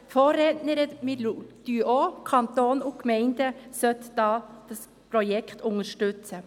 Wir denken auch, der Kanton und die Gemeinden sollten dieses Projekt unterstützen.